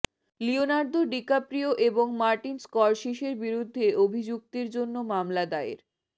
Leonardo DiCaprio এবং Martin স্কর্সিসের বিরুদ্ধে অভিযুক্তের জন্য মামলা দায়ের